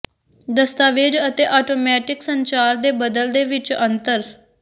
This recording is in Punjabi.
ਦਸਤਾਵੇਜ਼ ਅਤੇ ਆਟੋਮੈਟਿਕ ਸੰਚਾਰ ਦੇ ਬਦਲ ਦੇ ਵਿਚ ਅੰਤਰ